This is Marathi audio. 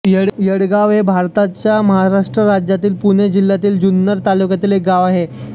येडगाव हे भारताच्या महाराष्ट्र राज्यातील पुणे जिल्ह्यातील जुन्नर तालुक्यातील एक गाव आहे